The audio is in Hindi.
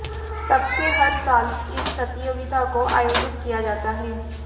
तब से हर साल इस प्रतियोगिता को आयोजित किया जाता है